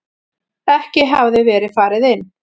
Ekki hafði verið farið inn.